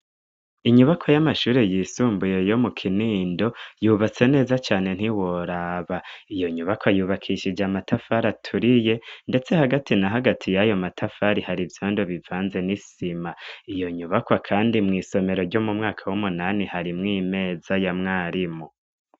Inyubakwa y'amashuri yisumbuye yo mu Kinindo ,yubatse neza cane ntiworaba. Iyo nyubakwa yubakishije amatafari aturiye ndetse hagati na hagati y'ayo matafari hari ivyondo bivanze n'isima, iyo nyubakwa kandi mw'isomero ryo mu mwaka w'umunani harimw'imeza ya mwarimu.